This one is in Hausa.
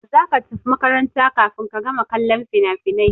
Za ka tafi makaranta kafin ka gama kallon finafinan!